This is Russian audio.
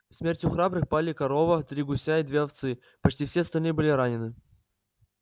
смертью храбрых пали корова три гуся и две овцы почти все остальные были ранены